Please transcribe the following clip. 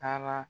Taara